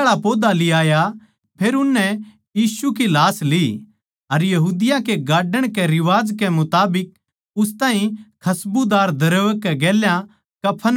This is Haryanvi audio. फेर उननै यीशु की लाश ली अर यहूदिया कै गाड्डण कै रिवाज कै मुताबिक उस ताहीं खस्बुदार द्रव्य कै गेल्या कफन म्ह लपेट्या